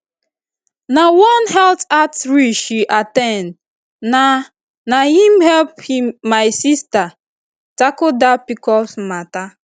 na one health outreach she at ten d na na him help my sister tackle that pcos matter